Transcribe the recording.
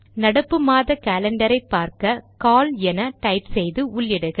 நடப்பு மாத காலண்டரை பார்க்க கால் என டைப் செய்து உள்ளிடுக